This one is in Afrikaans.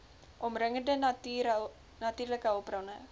omringende natuurlike hulpbronne